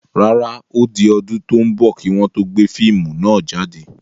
Rárá, ó di ọdún tò ń bọ̀ kii wọn to gbé fíìmù náà jáde.